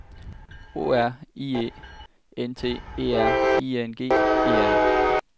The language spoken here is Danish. O R I E N T E R I N G E R